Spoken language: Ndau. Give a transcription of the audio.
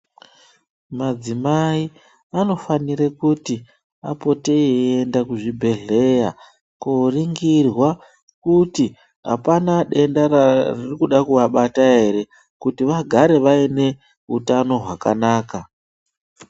Madzimai anofanira kuti apote eienda kuzvibhedhlera koningirwa kuti apana denda rikuda kuvabata ere kuti vagare vaine hutano hwakanaka